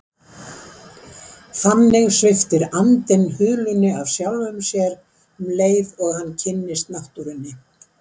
Þannig sviptir andinn hulunni af sjálfum sér um leið og hann kynnist náttúrunni.